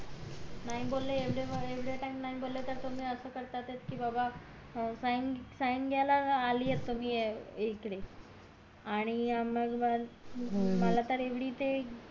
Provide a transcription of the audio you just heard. नाही बोले एवढे टाइम नाही बोले त तुम्ही असं करता कि बाबा sign sign घायला आलीयेत तुम्ही इकडे आणि मंग आणि मला तर येवडी ते